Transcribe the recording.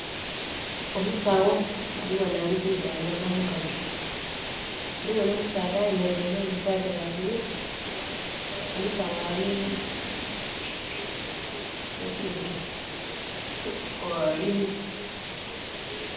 Omusawo ali ghano ali kwidhandhaba omukazi. Ghaligho nh'omusaadha ayemeleire mu saati ya bulu. Omusawo ali mu pinki...<skip>